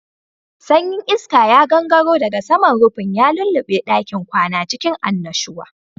Sanyin iska ya gangaro daga saman rufin, ya lulluɓe ɗakin kwana cikin annashuwa.